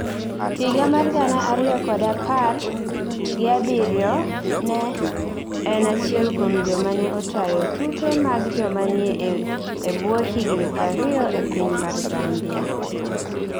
higa mar gana ariyokod apar gi abiriyo ne en achielkuom joma ne otayo tuke mag jomanie ebwohigni prariyo e piny mar Zambia